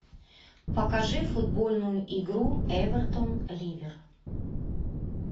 покажи футбольную игру эвертон ливер